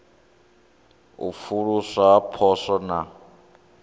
u pfuluswa ha poswo na